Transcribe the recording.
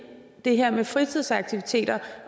det her med fritidsaktiviteter